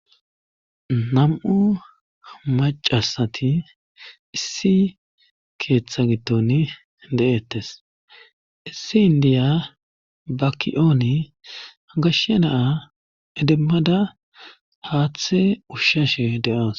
nam7u macasati issi keeththa giddon de7ettes issi indiya ba ki7ooni gashshe na7a idimmada haaththe ushshashe de7awus